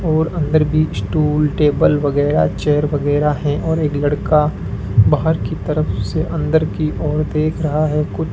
और अंदर भी स्टूल टेबल वगैरह चेयर वगैरह हैं और एक लड़का बाहर की तरफ से अंदर की ओर देख रहा है कुछ --